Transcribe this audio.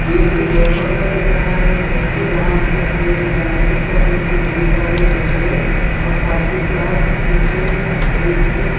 ये एक गोशाला लग रहा है देखे जहां पे एक गाय के साथ उसके कई सारे बछड़े और साथ ही साथ पीछे एक --